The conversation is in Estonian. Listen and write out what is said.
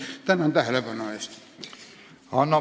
Tänan tähelepanu eest!